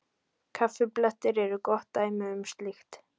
Kaffiblettir eru gott dæmi um slíkt.